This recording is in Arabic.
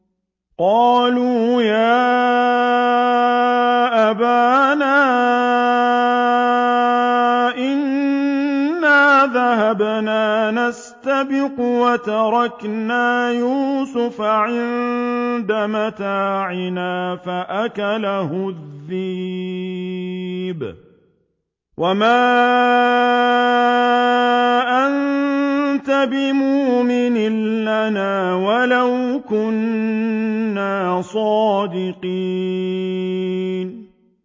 قَالُوا يَا أَبَانَا إِنَّا ذَهَبْنَا نَسْتَبِقُ وَتَرَكْنَا يُوسُفَ عِندَ مَتَاعِنَا فَأَكَلَهُ الذِّئْبُ ۖ وَمَا أَنتَ بِمُؤْمِنٍ لَّنَا وَلَوْ كُنَّا صَادِقِينَ